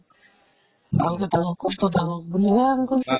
ভাল কে থাকক । সুস্থ থাকক বুলিহে আমি কৈছো ।